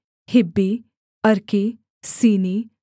हिब्बी अर्की सीनी